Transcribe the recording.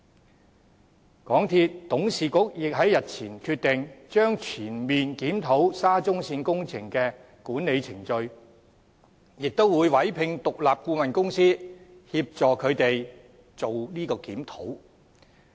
此外，港鐵公司董事局亦在日前決定，將全面檢討沙中線工程的管理程序，並會委聘獨立顧問公司協助進行有關檢討。